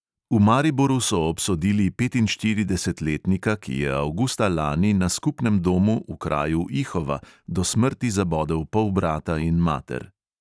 V mariboru so obsodili petinštiridesetletnika, ki je avgusta lani na skupnem domu v kraju ihova do smrti zabodel polbrata in mater.